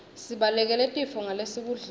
sibalekele tifo ngalesikudlako